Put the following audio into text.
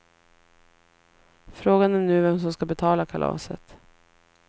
Frågan är nu vem som ska betala kalaset.